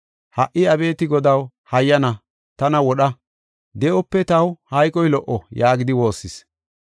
Ha7i Abeeti Godaw, hayyana tana wodha; de7ope taw hayqoy lo77o” yaagidi woossis.